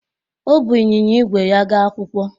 O buu ịnyịnya ígwè ya gaa akwụkwọ